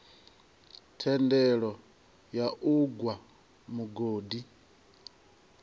thendelo ya u gwa mugodi